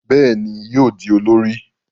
Béèni yóò di olórí.